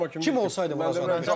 Donnarumma kimi Kim olsaydı vuracaqdı?